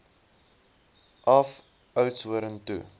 af oudtshoorn toe